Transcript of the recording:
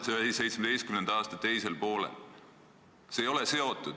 2017. aasta teisel poolel.